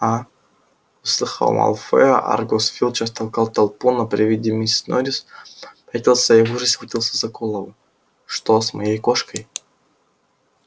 а услыхав малфоя аргус филч растолкал толпу но при виде миссис норрис попятился и в ужасе схватился за голову что с моей кошкой